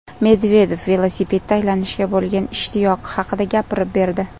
Medvedev velosipedda aylanishga bo‘lgan ishtiyoqi haqida gapirib berdi.